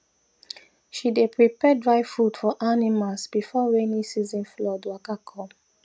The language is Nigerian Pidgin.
she dey prepare dry food for animals before rainy season flood waka come